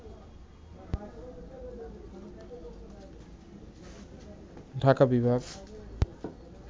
ঢাকা বিভাগ